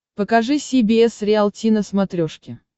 покажи си би эс риалти на смотрешке